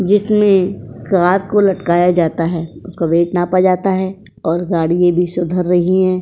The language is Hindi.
जिसमें कार को लटकाया जाता है उसका वेट नापा जाता है और गाड़ी ये भी सुधर रही है।